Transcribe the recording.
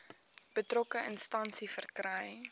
betrokke instansie verkry